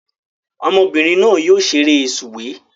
Ọmọbìnrin náà yóò ṣeré sùwé